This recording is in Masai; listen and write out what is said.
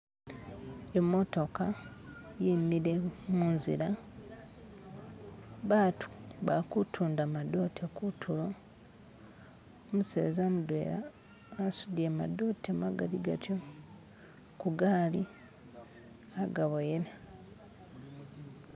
imotoka yimile munzila batu ba-kutunda madote kutulo umuseza mudwena asudile madote magali gatyo kugaali agaboyele.